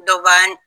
Dɔ b b'an